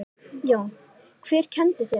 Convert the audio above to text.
Jón: Hver kenndi þér skák?